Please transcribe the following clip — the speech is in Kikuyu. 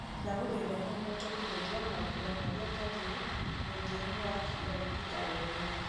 ndagũthaitha no ũhote kũhũthia mambura marĩa ngathiĩ mũthia-inĩ wa kiumia gĩkĩ karenda-inĩ yakwa